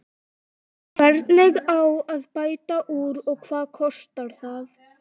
Hvernig á að bæta úr og hvað kostar það?